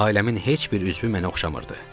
Ailəmin heç bir üzvü mənə oxşamırdı.